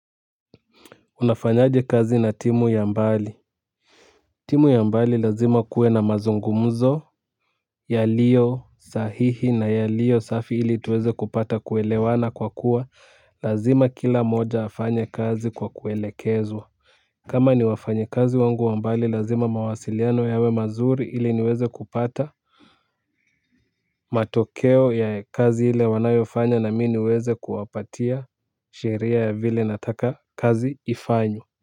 Unafanyaje kazi na timu ya mbali. Timu ya mbali lazima kuwe na mazungumzo. Yaliyo sahihi na yaliyo safi ili tuweze kupata kuelewana kwa kuwa lazima kila mmoja afanye kazi kwa kuelekezwa. Kama ni wafanyikazi wangu wa mbali lazima mawasiliano yawe mazuri ili niweze kupata matokeo ya kazi ile wanayofanya na mimi niweze kuwapatia sheria ya vile nataka kazi ifanywe. Kwa hivyo.